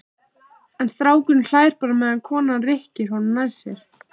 En strákurinn hlær bara meðan konan rykkir honum nær sér.